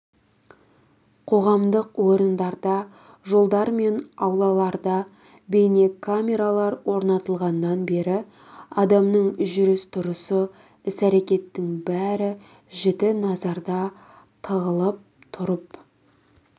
қоғамдық орындарда жолдар мен аулаларда бейнекамералар орнатылғаннан бері адамның жүріс-тұрысы іс-әрекетінің бәрі жіті назарда тығылып тұрып